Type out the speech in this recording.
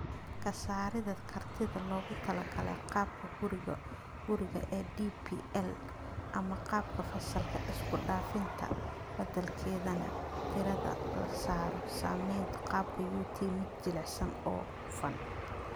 Ka saarida kartida loogu talagalay qaabka guriga-guriga ee DPL ama qaabka fasalka-isku-dhafan, taa beddelkeedana diiradda la saaro samaynta qaabka UT mid jilicsan oo hufan.